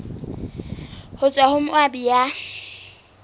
ho tswa ho moabi ya